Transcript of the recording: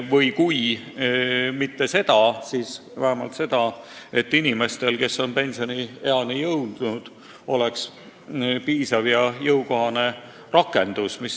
Või kui mitte seda, siis vähemalt tagama, et inimestel, kes on pensioniikka jõudnud, oleks piisav ja jõukohane rakendus.